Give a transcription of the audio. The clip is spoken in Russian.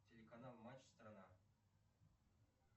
телеканал матч страна